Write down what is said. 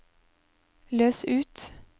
løs ut